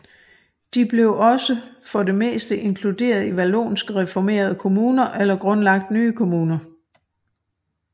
De blev også for det meste inkluderet i vallonske reformerede kommuner eller grundlagt nye kommuner